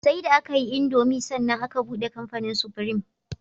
Sai da akayi indomie sannan aka buɗe kamfanin supreme